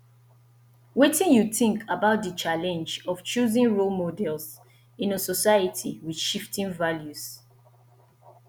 wetin you think about di challenge of choosing role models in a society with shifting values